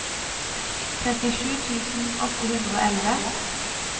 trettisju tusen åtte hundre og elleve